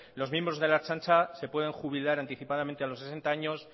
los miembros de la ertzaintza se pueden jubilar anticipadamente a los sesenta años